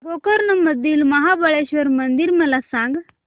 गोकर्ण मधील महाबलेश्वर मंदिर मला सांग